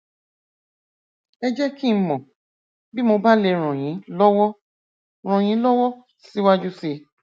ẹ jẹ kí n mọ bí mo bá lè ràn yín lọwọ ràn yín lọwọ síwájú sí i